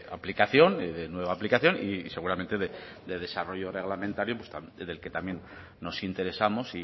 aplicación de nueva aplicación y seguramente de desarrollo reglamentario del que también nos interesamos